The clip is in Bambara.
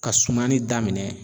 Ka sumani daminɛn